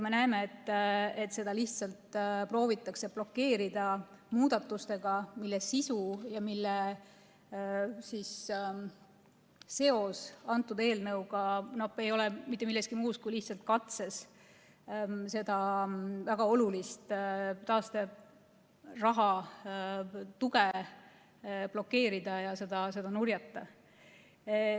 Me näeme, et seda lihtsalt proovitakse blokeerida muudatustega, mille seos eelnõuga ei ole mitte midagi muud kui lihtsalt katse seda väga olulist taasteraha tuge blokeerida ja nurjata.